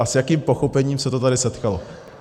A s jakým pochopením se to tady setkalo?